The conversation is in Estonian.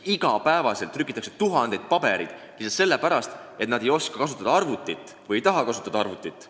Iga päev trükitakse tuhandeid pabereid lihtsalt sellepärast, et nad ei oska või ei taha kasutada arvutit.